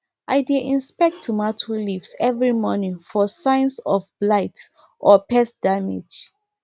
i dey inspect tomato leaves every morning for signs of blight or pest damage